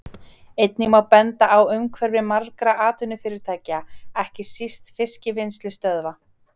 Einnig má benda á umhverfi margra atvinnufyrirtækja, ekki síst fiskvinnslustöðva.